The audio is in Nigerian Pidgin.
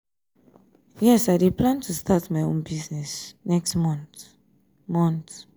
yes i dey plan to start my own business next month. month.